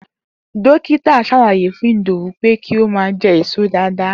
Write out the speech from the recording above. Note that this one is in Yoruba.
Dókítà s̩álàyé fún Ìdòwú pé kí ó má a je̩ èso dáadáa